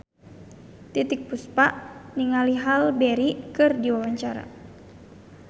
Titiek Puspa olohok ningali Halle Berry keur diwawancara